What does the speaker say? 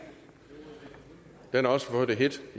den har også fået det hedt